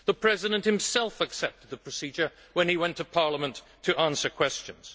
The President himself accepted the procedure when he went to Parliament to answer questions.